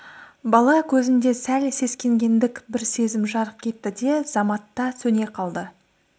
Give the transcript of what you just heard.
бала көзінде сәл сескенгендік бір сезім жарқ етті де заматта сөне қалды